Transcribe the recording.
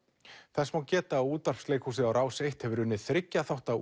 þess má geta að útvarpsleikhúsið og Rás eins hefur unnið þriggja þátta